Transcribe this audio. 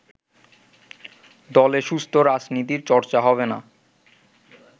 দলে সুস্থ রাজনীতির চর্চা হবে না